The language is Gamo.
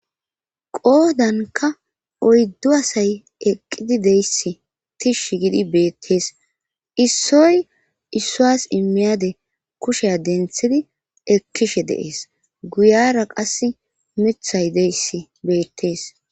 Qoodankka oyddu asay eqqidi deyssi tishshi gidi beettees issoy issuwas immiyade kushsha denththidi ekkishshe de'ees guyara qas miiththay deyassi beettees